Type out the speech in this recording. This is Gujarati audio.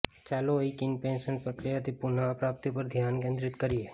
ચાલો એક ઇનપેશન્ટ પ્રક્રિયામાંથી પુનઃપ્રાપ્તિ પર ધ્યાન કેન્દ્રિત કરીએ